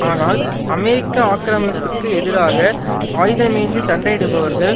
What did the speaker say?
ஆனால் அமெரிக்க ஆக்கிரமிப்பிற்கு எதிராக ஆயுதமேந்திச் சண்டை இடுபவர்கள்